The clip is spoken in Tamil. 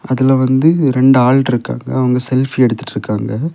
அதுல வந்து ரெண்டு ஆள் இருக்காங்க. அவங்க செல்ஃபி எடுத்துட்ருக்காங்க.